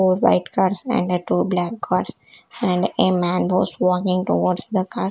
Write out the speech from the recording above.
four white cars and a two black cars and a man was walking towards the car.